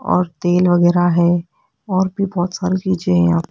और तेल वगैरा हैं और भी बहोत सारी चीजें है यहां।